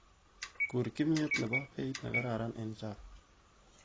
Kur kimiet nebo beit nekararan eng Java